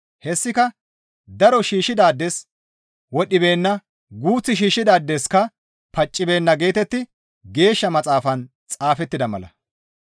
Hessika, «Daro shiishshidaades wodhdhibeenna; guuth shiishshidaadeska paccibeenna» geetetti Geeshsha Maxaafan xaafettida mala.